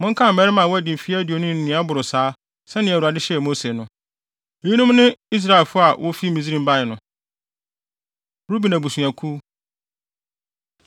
“Monkan mmarima a wɔadi mfe aduonu ne nea ɛboro saa sɛnea Awurade hyɛɛ Mose no.” Eyinom ne Israelfo a wofi Misraim bae no: Ruben Abusuakuw